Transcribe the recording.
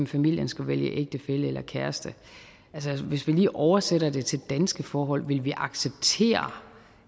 familien skulle vælge ægtefælle eller kæreste altså hvis vi lige oversætter det til danske forhold ville vi acceptere